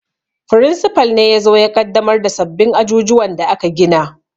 Firinsifal ne yazo ya ƙaddamar da sabbin ajujuwan da aka gina